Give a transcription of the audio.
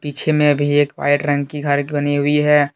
पीछे में भी एक व्हाइट रंग की घर की बनी हुई है।